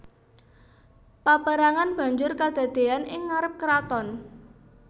Paperangan banjur kadadean ing ngarep keraton